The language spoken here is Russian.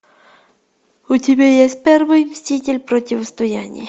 у тебя есть первый мститель противостояние